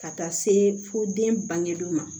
Ka taa se fo den bangebaw ma